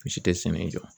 Si tɛ sɛnɛ jɔ